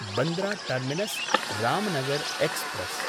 Bandra टर्मिनस्–रामनगर् express